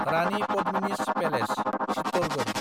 Rani Padmini's palace (Chittorgarh)